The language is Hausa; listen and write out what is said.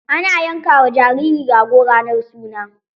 Ana yanka ma jariri rago ranar suna.